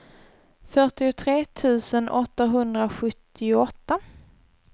fyrtiotre tusen åttahundrasjuttioåtta